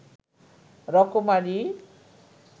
রকমারি